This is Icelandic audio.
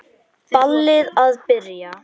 Ballið að byrja.